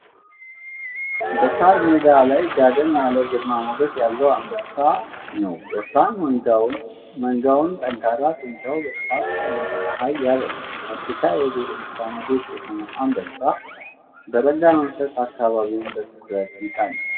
በሳር ሜዳ ላይ ጋደም ያለ ግርማ ሞገስ ያለውን አንበሳ ነው። ወፍራም መንጋውና ጠንካራ ጡንቻው በጠዋቱ ፀሐይ ያበራል። የአፍሪካ የዱር እንስሳት ንጉስ የሆነው አንበሳ በረጋ መንፈስ አካባቢውን በትኩረት ይቃኛል።